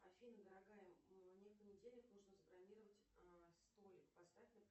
афина дорогая мне в понедельник нужно забронировать столик поставь